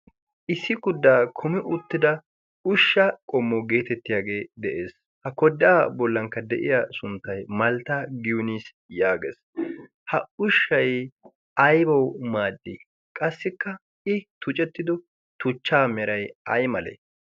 issi kuddaa kumi uuttida ushsha qommo geetettiyaagee de'ees ha koddaa bollankka de'iya sunttay maltta giniis yaagees ha ushshay aybawu maaddi qassikka i tucettido tuchchaa meray ay male